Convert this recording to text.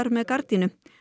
með gardínu